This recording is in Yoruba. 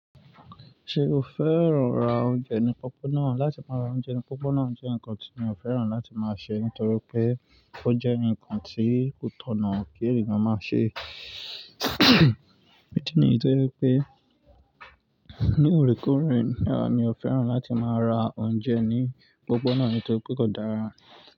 Ṣé o fẹ́ran ra oúnjẹ ní pópó náà? Látí máa ra oúnjẹ ní pópó náà jẹ́ nnkan tí mi ò fẹ́ran láti máa ṣe nítorí pé ó jẹ́ nnkan tí kò tọ̀nà kí ènìyàn máa ṣe. Idi níyi toje wipé ní oríkoòrè náà mi ò fẹ́ran láti máa ra oúnjẹ ní opópó náà ni tóri pẹ́ kódàra.